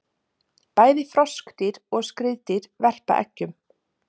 Bæði froskdýr og skriðdýr verpa eggjum.